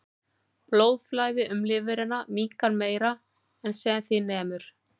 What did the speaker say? Blóðflæði um lifrina minnkar meira en sem því nemur.